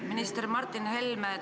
Minister Martin Helme!